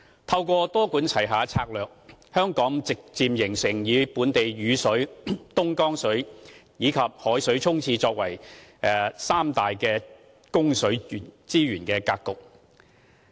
透過多管齊下的策略，香港逐漸形成本地雨水、東江水和以海水沖廁的三大供水資源格局。